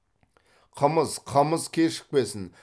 қымыз қымыз кешікпесін